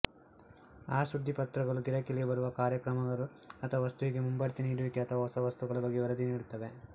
ಆ ಸುದ್ದಿಪತ್ರಗಳು ಗಿರಾಕಿಗಳಿಗೆ ಬರಲಿರುವ ಕಾರ್ಯಕರ್ಮಗಳು ಅಥವಾ ವಸ್ತುವಿಗೆ ಮುಂಬಡ್ತಿ ನೀಡುವಿಕೆ ಅಥವಾ ಹೊಸ ವಸ್ತುಗಳ ಬಗ್ಗೆ ವರದಿ ನೀಡುತ್ತವೆ